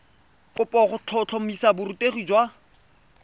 kopo go tlhotlhomisa borutegi jwa